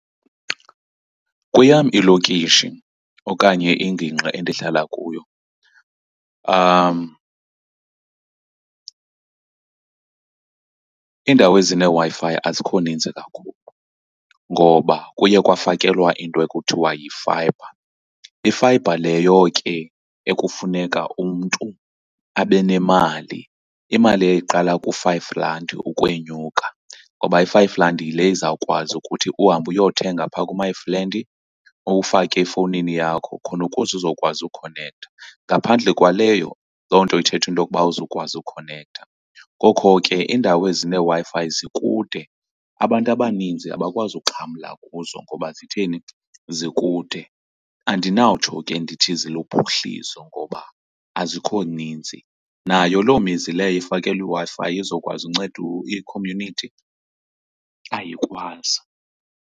Kweyam ilokishi okanye ingingqi endihlala kuyo iindawo ezineeWi-Fi azikho ninzi kakhulu ngoba kuye kwafakelwa into ekuthiwa yefayibha. Ifayibha leyo ke ekufuneka umntu abe nemali, imali eyayiqala ku-five rand ukwenyuka. Ngoba i-five rand yile izawukwazi ukuthi uhambe uyothenga phaa ku-my friend, uwufake efowunini yakho khona ukuze uzokwazi ukhonektha. Ngaphandle kwaleyo, loo nto ithetha into yokuba awukwazi ukhonektha. Ngoko ke iindawo ezineeWi-Fi zikude. Abantu abaninzi abakwazi uxhamla kuzo ngoba zitheni, zikude. Andinawutsho ke ndithi ziluphuhliso ngoba azikho ninzi. Nayo loo mizi leyo ifakelwe iWi-Fi izokwazi uncedo i-community ayikwazi.